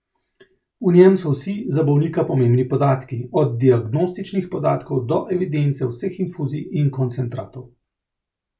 V njem so vsi za bolnika pomembni podatki, od diagnostičnih podatkov do evidence vseh infuzij in koncentratov.